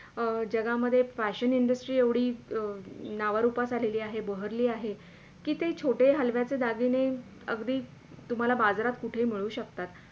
जगामधे Fashion Industry एवढी नावा रुपास आलेली आहे बहरली आहे कि ते छोटे हलव्याचे दागिने अगदी तुम्हाला बाजारात कुठेही मिळू शकतात.